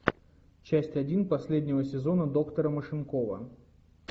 часть один последнего сезона доктора машинкова